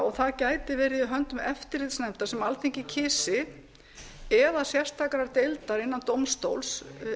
og það gæti verið í höndum eftirlitsnefndar sem alþingi kysi eða sérstakra deilda innan dómstóls